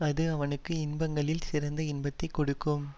அஃது அவனுக்கு இன்பங்களில் சிறந்த இன்பத்தை கொடுக்கும்